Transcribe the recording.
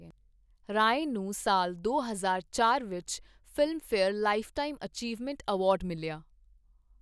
ਰਾਏ ਨੂੰ ਸਾਲ ਦੋ ਹਜ਼ਾਰ ਚਾਰ ਵਿੱਚ, ਫਿਲਮਫੇਅਰ ਲਾਈਫਟਾਈਮ ਅਚੀਵਮੈਂਟ ਅਵਾਰਡ ਮਿਲਿਆ।